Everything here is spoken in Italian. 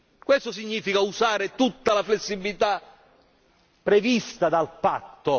Ciò significa usare tutta la flessibilità prevista dal patto.